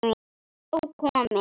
Nóg komið